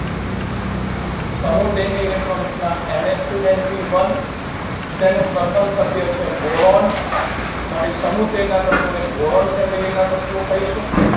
સમુહ તેરની electron રચના NHtwoNPone જેનું પ્રથમ સભ્ય છે boron માટે સમુહ તેરના તત્વોને boron family ના તત્વો કહીશું